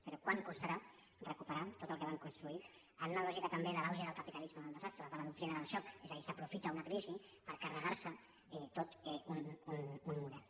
però quant costarà recuperar tot el que van construir en la lògica també de l’auge del capitalisme del desastre de la doctrina del xoc és a dir s’aprofita una crisi per carregar se tot un model